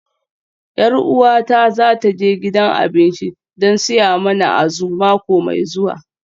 Yar uwata za ta je gidan abinci don siya mana Azu mako mai zuwa